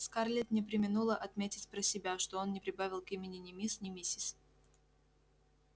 скарлетт не преминула отметить про себя что он не прибавил к имени ни мисс ни миссис